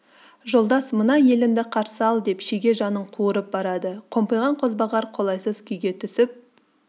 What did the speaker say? жолдас мына еліңді қарсы ал деп шеге жанын қуырып барады қомпиған қозбағар қолайсыз күйге түсіп